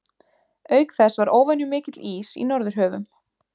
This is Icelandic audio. Auk þess var óvenjumikill ís í norðurhöfum.